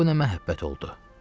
Bu nə məhəbbət oldu?